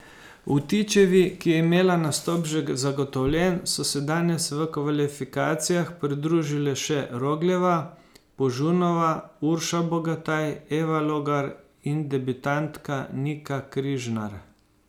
Vtičevi, ki je imela nastop že zagotovljen, so se danes v kvalifikacijah pridružile še Rogljeva, Požunova, Urša Bogataj, Eva Logar in debitantka Nika Križnar.